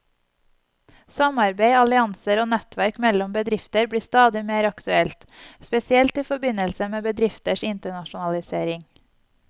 Samarbeid, allianser og nettverk mellom bedrifter blir stadig mer aktuelt, spesielt i forbindelse med bedrifters internasjonalisering.